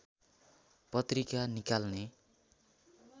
पत्रिका निकाल्ने